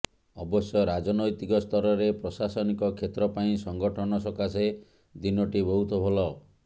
ଅବଶ୍ୟ ରାଜନୈତିକ ସ୍ତରରେ ପ୍ରଶାସନିକ କ୍ଷେତ୍ର ପାଇଁ ସଂଗଠନ ସକାଶେ ଦିନଟି ବହୁତ ଭଲ